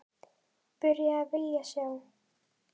Byrjuð að vilja sjá.